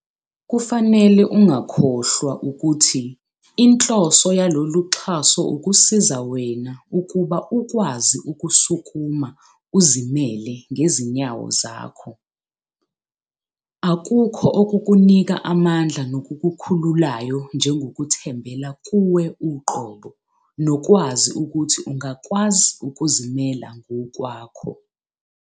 Kufanele ungakhohlwa ukuthi inhloso yaloluxhaso ukusiza wena ukuba ukwazi ukusukuma uzimele ngezinyawo zakho. Akukho okukunika amandla nokukukhululayo njengokuthembela kuwe uqobo nokwazi ukuthi ungakwazi ukuzimela ngokwakho.